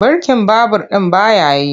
Birkin babur ɗin ba ya yi.